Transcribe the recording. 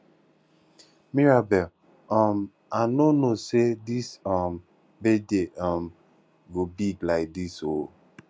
mirabel um i no know say dis um birthday um go big like dis oo